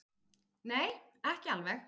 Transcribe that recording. Nei, ekki alveg.